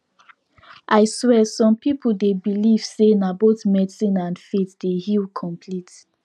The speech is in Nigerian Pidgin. i swear some people dey believe say na both medicine and faith dey heal complete